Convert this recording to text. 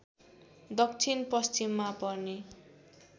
दक्षिण पश्चिममा पर्ने